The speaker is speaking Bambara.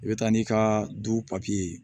I bɛ taa n'i ka du papiye ye